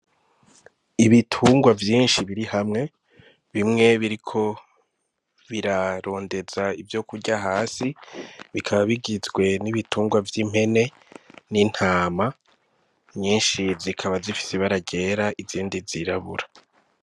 Ibitungwa vyinshi biri hamwe, bimwe biriko birarondeza ivyokurya hasi, bikaba bigizwe n'ibitungwa vy'impene, n'intama nyinshi zikaba zifise ibara ryera, izindi zirabura.